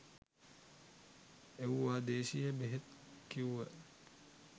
එව්වා දේශීය බෙහෙත් කිව්ව